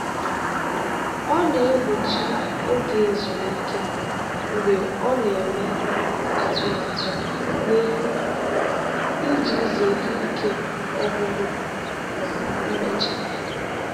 ọ na-egbochi oge ezumike mgbe ọ na-eme atụmatụ n'ihu iji zere ike ọgwụgwụ ma emechaa.